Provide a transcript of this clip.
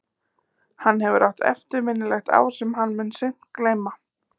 Hann hefur átt eftirminnilegt ár sem hann mun seint gleyma.